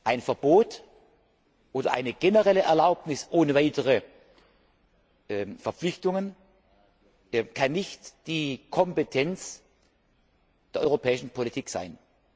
Ein Verbot oder eine generelle Erlaubnis ohne weitere Verpflichtungen kann nicht die Kompetenz der europäischen Politik sein.